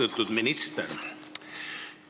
Austatud minister!